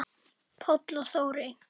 Páll og Þórey.